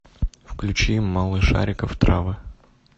включи малышариков травы